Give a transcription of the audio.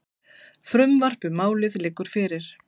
Frumvarp um málið liggur fyrir.